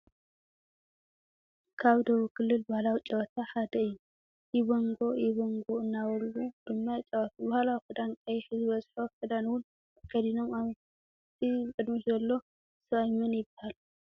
ካብ ደቡብ ክልል ባህላዊ ጨወታ ሐደ እዩ ።ኢቦንጎ ኢቦንጎ ናበሉ ድማ ይጫወቱ ።ባህላዊ ክዳን ቀይሕ ዝበዝሖ ክደን እውን ተከዲኖም ።እቲ ብቅድሚት ዘሎ ስብኣይ መን ይባሃል?